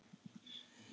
Tíminn stóð í stað.